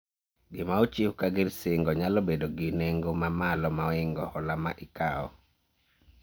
Gima ochiw ka gir singo nyalo bedo gi nengo ma malo moingo hola ma ikawo